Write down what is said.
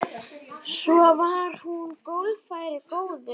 Svo var hún golfari góður.